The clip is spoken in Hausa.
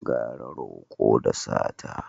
Gara roƙo da sata